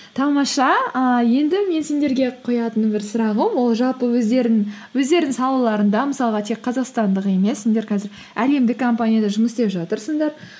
тамаша ііі енді мен сендерге қоятыным бір сұрағым ол жалпы өздеріңнің салаларында мысалға тек қазақстандық емес сендер қазір әлемдік компанияда жұмыс істеп жатырсыңдар